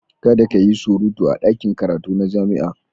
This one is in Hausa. Kada ka yi surutu a ɗakin karatu na jami'a.